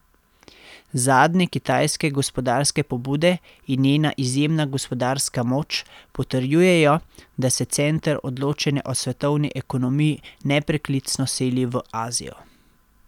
Zadnje kitajske gospodarske pobude in njena izjemna gospodarska moč potrjujejo, da se center odločanja o svetovni ekonomiji nepreklicno seli v Azijo.